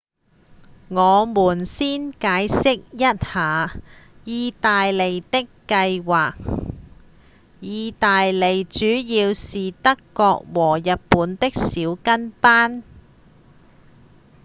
我們先解釋一下義大利的計畫義大利主要是德國和日本的「小跟班」